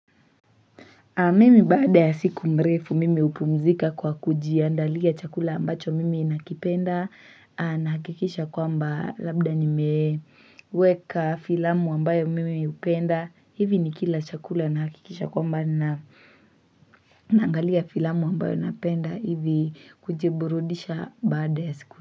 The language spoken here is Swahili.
Mimi baada ya siku mrefu mimi upumzika kwa kujiandalia chakula ambacho mimi nakipenda na hakikisha kwa mba labda ni meweka filamu ambayo mimi upenda. Hivi ni kila chakula na hakikisha kwa mba na naangalia filamu ambayo napenda hivi kujiburudisha baada ya siku.